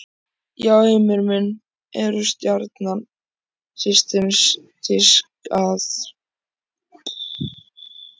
Já Heimir minn, eru Stjarnan systematískt að góla á dómarann?